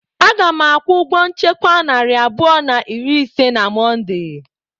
Aga m akwụ ụgwọ nchekwa narị abụọ na iri ise na Mọnde.